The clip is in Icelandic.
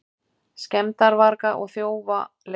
Skemmdarvarga og þjófa leitað